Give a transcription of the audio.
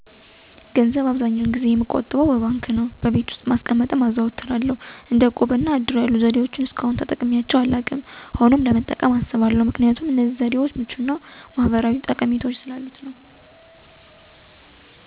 ገንዘብ የምቆጥብበት መንገድ በአብዛኛው ጊዜ በባንክ ዉስጥ በማስቀመጥ ነው። ሌላውም ደግሞ ከቤት ውስጥ ማስቀመጥን አዘወትራለሁ፤ ይሁን እንጂ ሌሎችን እንደ እቁብ እና እድር የመሳሰሉትን ዘዴዎች እስከአሁን ድረስ ተጠቅሜያቸው አላውቅም። ሆኖም እንደ እቁብ እና እድር የመሳሰሉትን ለመጠቀም አስባለሁ ምክንያቱም እነዚህ ገንዘብ የመቆጠቢያ ዘዴዎች ምቹ እና ከኢኮኖሚ ጠቀሜታውም በተለየ ደግሞ የማህበራዊ ጠቀሜታዎች ስላሉት ነው።